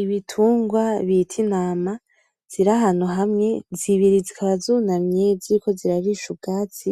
Ibitungwa bita intama, zirahantu hamwe. Zibiri zikaba zunamye ziriko zirarisha ubwatsi.